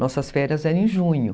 Nossas férias eram em junho.